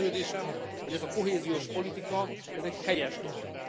Meggyőződésem, hogy ez a kohéziós politika, ez egy helyes dolog.